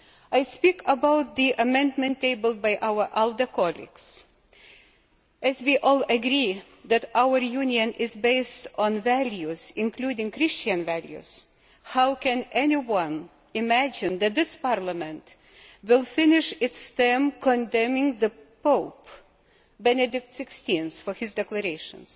I speak about the amendment tabled by our ALDE colleagues. As we all agree that our Union is based on values, including Christian values, how can anyone imagine that this Parliament will finish its term condemning the Pope, Benedict XVI, for his declarations?